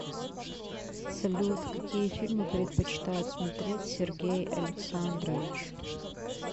салют какие фильмы предпочитает смотреть сергей александрович